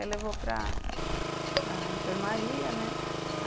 Aí levou para para enfermaria, né?